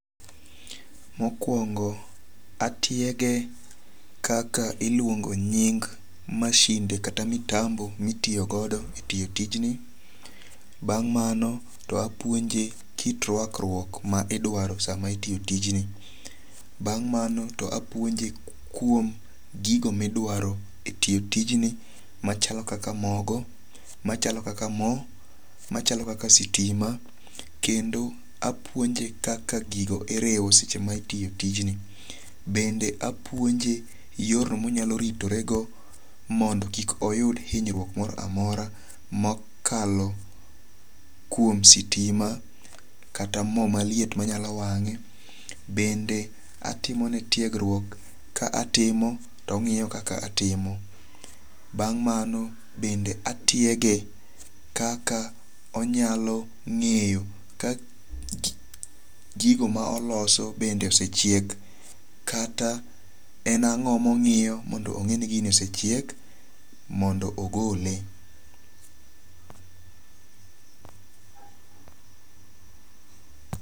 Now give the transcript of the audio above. Mokwongo atiege kaka iluongo nying masinde kata mitambo mitiyogodo e tiyo tijni. Bang' mano to apuonje kit rwakruok ma idwaro sa ma itiyo tijni. Bang' mano to apuonje kuom gigo midwaro e tiyo tijni machalo kaka mogo, machalo kaka mo, machalo kaka sitima. Kendo apuonje kaka gigo iriwo seche ma itiyo tijni. Bende apuonje yorno ma onyalo ritorego mondo kik oyud hinyruok moro amora mokalo kuom sitima kata mo maliet manyalo wange. Bende atimone tiegruok ka atimo to ong'iyo kaka atimo. Bang' mano bende atiege kaka onyalo ng'eyo gigo ma oloso bende osechiek kata en ang'o mong'iyo mondo ong'e ni gini osechiek mondo ogole.